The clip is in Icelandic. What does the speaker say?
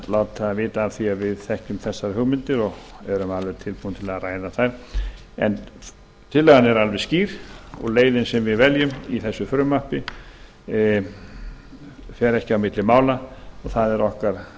láta vita af því að við þekkjum þessar hugmyndir og erum tilbúin til að ræða þær en tillagan er alveg skýr og leiðin sem við veljum í frumvarpinu fer ekki á milli mála og það er